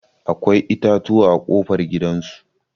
Akwai itatuwa a ƙofar gidan su.